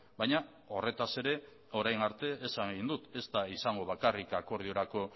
baina horretaz ere orain arte esan egin dut ez da izango bakarrik akordiorako